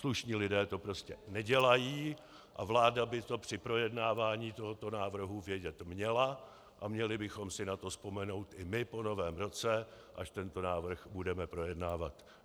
Slušní lidé to prostě nedělají a vláda by to při projednávání tohoto návrhu vědět měla a měli bychom si na to vzpomenout i my po Novém roce, až tento návrh budeme projednávat.